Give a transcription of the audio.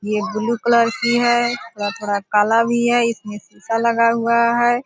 ये blue colour कि है थोड़ा-थोड़ा काला भी है इसमें शीशा लगा हुआ है।